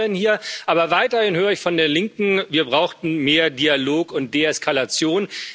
Wir diskutieren hier, aber weiterhin höre ich von der Linken, wir brauchten mehr Dialog und Deeskalation.